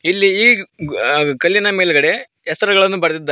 ಇಲ್ಲಿ ಇಗ್ ಆಗ್ ಕಲ್ಲಿನ ಮೇಲ್ಗಡೆ ಹೆಸರುಗಳನ್ ಬರ್ದಿದ್ದಾರೆ.